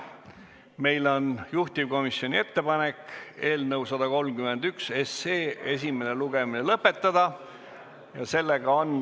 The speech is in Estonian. Meil on juhtivkomisjoni ettepanek eelnõu 131 esimene lugemine lõpetada.